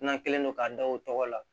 N'an kɛlen don k'a da o tɔgɔ la